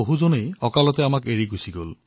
বহুতে আমাক অকালতে এৰি গৈছে